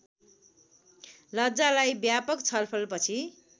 लज्जालाई व्यापक छलफलपछि